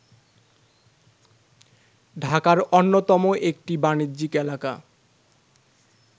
ঢাকার অন্যতম একটি বাণিজ্যিক এলাকা